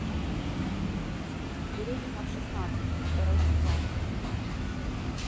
беременна в шестнадцать второй сезон